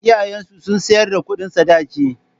Iyayen su sun tsayar da kudin Sadaki